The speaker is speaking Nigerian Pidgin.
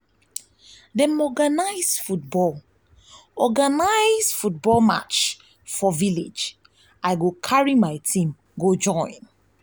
dem organize football organize football match for village i go carry my team join.